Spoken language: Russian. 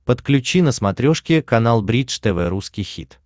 подключи на смотрешке канал бридж тв русский хит